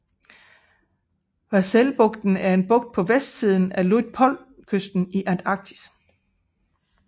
Vahselbugten er en bugt på vestsiden af Luitpoldkysten i Antarktis